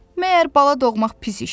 Məyər bala doğmaq pis işdir?